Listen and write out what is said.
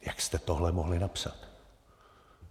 Jak jste tohle mohli napsat?